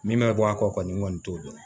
Min ma bɔ a kɔ kɔni n kɔni t'o dɔn